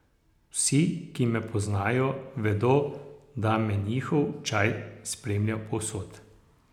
Vsi, ki me poznajo, vedo, da me njihov čaj spremlja povsod.